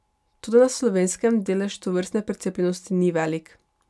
Toda na Slovenskem delež tovrstne precepljenosti ni velik.